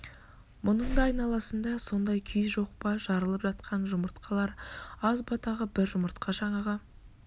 мұның да айналасында сондай күй жоқ па жарылып жатқан жұмырт-қалар аз ба тағы бір жұмыртқа жаңағы